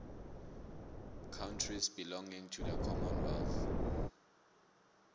countries belonging to the common wealth